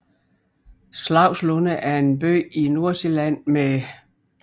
Slagslunde er en by i Nordsjælland med